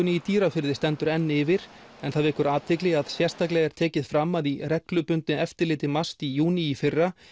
í Dýrafirði stendur enn yfir en það vekur athygli að sérstaklega er tekið fram að í reglubundnu eftirliti MAST í júní í fyrra